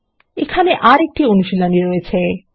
এখানে আরেকটি অনুশীলনী রয়েছে160 1